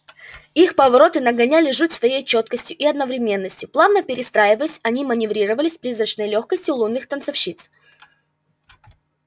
их повороты нагоняли жуть своей чёткостью и одновременностью плавно перестраиваясь они маневрировали с призрачной лёгкостью лунных танцовщиц